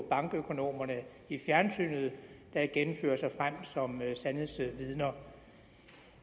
bankøkonomerne i fjernsynet der igen fører sig frem som sandhedsvidner